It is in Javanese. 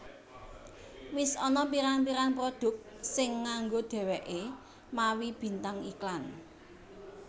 Wis ana pirang pirang produk sing nganggo dheweke mawi bintang iklan